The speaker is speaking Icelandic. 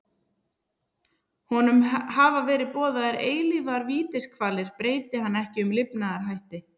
Honum hafa verið boðaðar eilífar vítiskvalir breyti hann ekki um lifnaðarhætti.